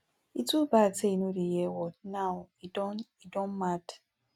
e too bad say e no dey hear word now e don e don mad